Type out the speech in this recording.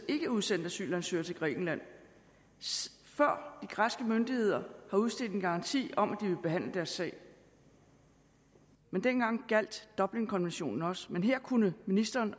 villet udsende asylansøgere til grækenland før de græske myndigheder udsteder en garanti om at de vil behandle deres sag dengang gjaldt dublinkonventionen også men her kunne ministeren